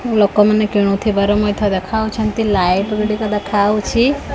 ଲୋକମାନେ କିଣୁଥିବାର ମଧ୍ୟ ଦେଖାଉଛନ୍ତି ଲାଇଟ୍ ଗୁଡ଼ିକ ଦେଖାଉଛି ।